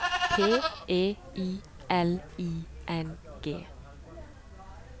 P E I L I N G